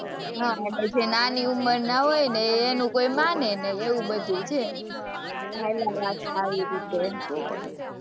જે નાની ઉંમરના હોય એનું કોઈ મને નહીં એવું બધું છે, હાલા રાખે આવી રીતે,